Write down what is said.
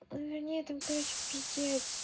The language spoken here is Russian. мне это короче пиздец